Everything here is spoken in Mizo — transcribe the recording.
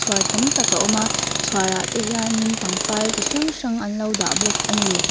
tam tak a awm a chhuarah te hian pangpar tam tak anlo dah bawk ani.